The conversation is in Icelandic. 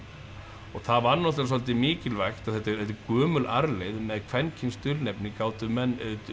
og það var náttúrulega svolítið mikilvægt þetta er gömul arfleifð með kvenkyns dulnefni gátu menn